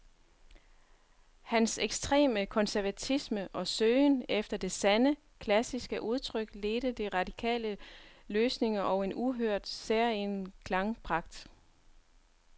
Hans ekstreme konservatisme og søgen efter det sande, klassiske udtryk ledte til radikale løsninger og en uhørt, særegen klangpragt.